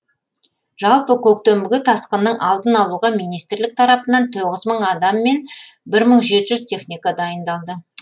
жалпы көктемгі тасқынның алдын алуға министрлік тарапынан тоғыз мың адам мен бір мың жеті жүз техника дайындалды